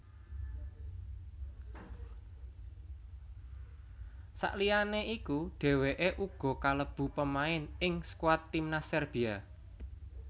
Sakliyane iku dhèwèké uga kalebu pemain ing skuad timnas Serbia